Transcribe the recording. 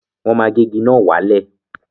Wọ́n ma gé igi náà wálẹ̀